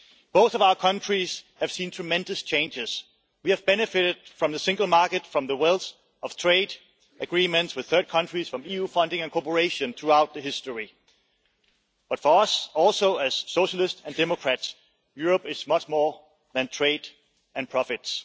Both of our countries have seen tremendous changes. We have benefited from the single market, from the wealth of trade agreements with third countries, and from EU funding and cooperation throughout its history. But for us as Socialist and Democrats, Europe is much more than trade and profits.